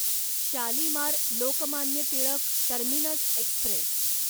Shalimar Lokmanya Tilak terminus Express